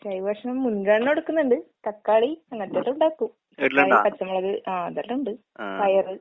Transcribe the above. ജൈവ ഭക്ഷണം മുൻഗണന കൊടുക്കുന്ന്ണ്ട്. തക്കാളി അങ്ങനത്തെല്ലാം ഇണ്ടാക്കും. തക്കാളി, പച്ചമുളക്, ആഹ് ഇതെല്ലാണ്ട് പയറ്.